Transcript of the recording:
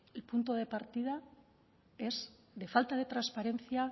el punto de partida es de falta de transparencia